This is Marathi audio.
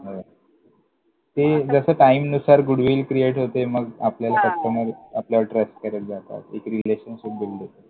ते जसं टाइमनुसार goodwill create होते. मग आपल्याला हां! customer आपल्यावर trust करत जातात. हां! एक relationship build होते. हो!